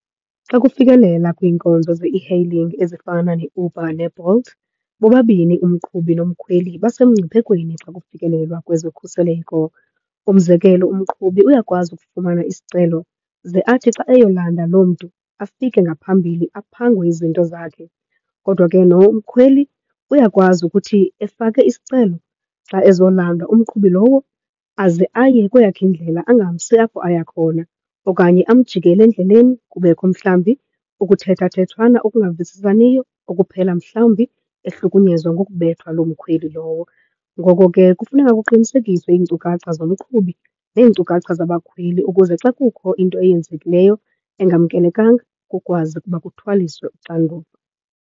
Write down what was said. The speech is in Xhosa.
Xa kufikelela kwiinkonzo ze-e-hailing ezifana neUber neBolt bobabini umqhubi nomkhweli basemngciphekweni xa kufikelelwa kwezokhuseleko. Umzekelo umqhubi uyakwazi ukufumana isicelo, ze athi xa eyolanda loo mntu afike ngaphambili aphangwe izinto zakhe. Kodwa ke nomkhweli uyakwazi ukuthi efake isicelo xa ezolandwa, umqhubi lowo aze aye kweyakhe indlela angamsi apho aya khona okanye amjikele endleleni, kubekho mhlawumbi ukuthethathethwana okungavisisaniyo okuphela mhlawumbi ehlukunyezwa ngokubethwa loo mkhweli lowo. Ngoko ke kufuneka kuqinisekise iinkcukacha zomqhubi neenkcukacha zabakhweli ukuze xa sekukho into eyenzekileyo, engamkelekanga, kukwazi ukuba kuthwaliswe uxanduva.